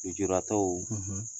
lejuratɔw